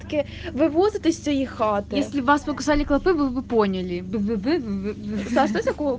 вывод из твоих а ты его сколько соли кладут вы поняли